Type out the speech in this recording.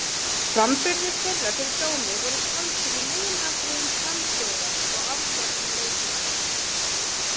Framburðir þeirra fyrir dómi voru taldir í meginatriðum samhljóða og afdráttarlausir.